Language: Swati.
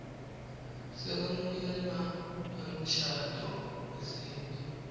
sekwemukelwa kwemshado wesintfu